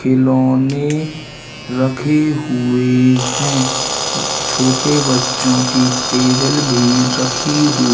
खिलौने रखे हुए हैं छोटे बच्चों की टेबल भी रखी हु--